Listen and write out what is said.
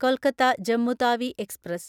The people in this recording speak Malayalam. കൊൽക്കത്ത ജമ്മു താവി എക്സ്പ്രസ്